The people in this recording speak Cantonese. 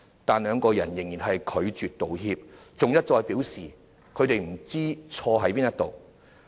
但是，兩人仍拒絕道歉，還一再表示不知錯在何處。